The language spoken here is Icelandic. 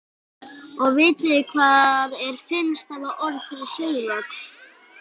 Og vitið þið hvað er fimm stafa orð yfir sögulok?